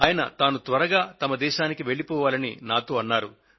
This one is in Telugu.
ఆయన తాను త్వరగా తన దేశానికి వెళ్లిపోవాలని నాతో అన్నారు